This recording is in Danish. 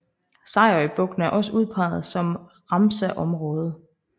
Sejerøbugten er også udpeget som Ramsarområde